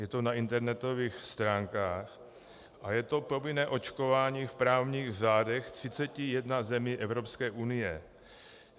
Je to na internetových stránkách a je to povinné očkování v právních řádech 31 zemí Evropské unie.